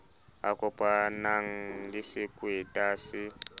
a kopanang le sekweta se